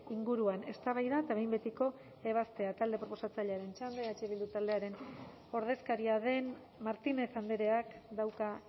inguruan eztabaida eta behin betiko ebaztea talde proposatzailearen txanda eh bildu taldearen ordezkaria den martinez andreak dauka